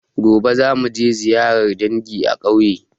Gobe za muje ziyarar dangi a ƙauye